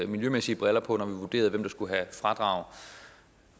miljømæssige briller på når vi vurderede hvem der skulle have fradrag